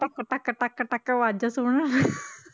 ਟਕ ਟਕ ਟਕ ਟਕ ਆਵਾਜ਼ਾਂ ਸੁਣਨ